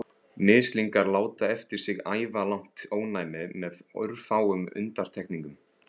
Mislingar láta eftir sig ævilangt ónæmi með örfáum undantekningum.